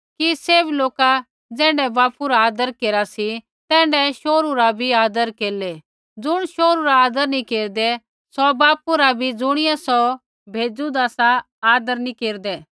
कि सैभ लोका ज़ैण्ढै बापू रा आदर केरा सी तैण्ढै शोहरू रा भी आदर केरलै ज़ुण शोहरू रा आदर नी केरदा सौ बापू रा भी ज़ुणियै सौ भेज़ूदा सा आदर नैंई केरदा